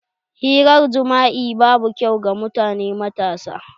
Hirar jima'i babu kyau ga mutane matasa.